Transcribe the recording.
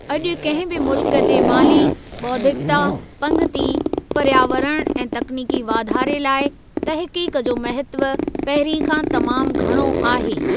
अॼु कंहिं बि मुल्क जे माली, बौद्धिकता, पंगिती, पर्यावरण ऐं तकनीकी वाधारे लाइ तहक़ीक़ जो महत्व पहिरीं खां तमामु घणो आहे।